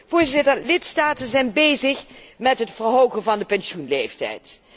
Voorzitter, lidstaten zijn bezig met het verhogen van de pensioenleeftijd.